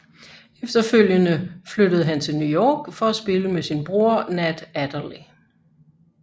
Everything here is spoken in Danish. Efterfølgende flyttede han til New York for at spille med sin bror Nat Adderley